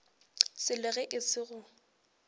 selo ge e se go